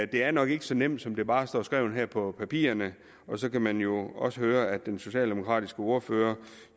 det er nok ikke så nemt som det bare står skrevet her på papirerne og så kan man jo også høre at den socialdemokratiske ordfører